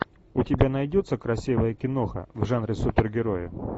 у тебя найдется красивая киноха в жанре супергерои